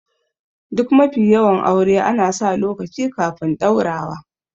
Duk mafi yawan aure ana sa lokaci kafin ɗaurawa